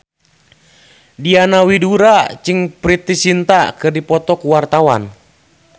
Diana Widoera jeung Preity Zinta keur dipoto ku wartawan